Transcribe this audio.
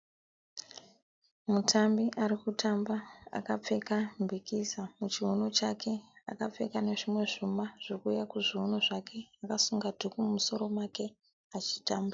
Mutambi ari kutamba akapfeka mbikiza muchiuno chake akapfeka nezvimwe zvuma zviri kuuya kuzviuno zvake akasunga dhuku mumusoro make achitamba.